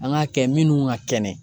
An k'a kɛ minnu ka kɛnɛ